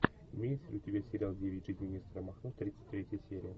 имеется ли у тебя сериал девять жизней нестора махно тридцать третья серия